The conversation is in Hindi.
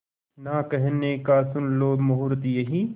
ना कहने का सुन लो मुहूर्त यही